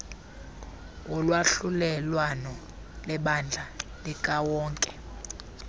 wolwahlulelwano lebandla likawonke